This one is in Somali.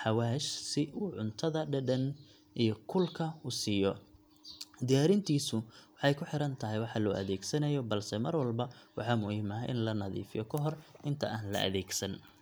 xawaash si uu cuntada dhadhan iyo kulka u siiyo. Diyaarintiisu waxay ku xiran tahay waxa loo adeegsanayo, balse mar walba waxaa muhiim ah in la nadiifiyo ka hor inta aan la adeegsan.